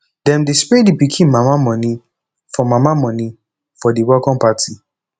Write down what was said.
dem dey spray di pikin mama moni for mama moni for di welcome party